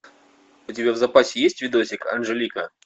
у тебя в запасе есть видосик анжелика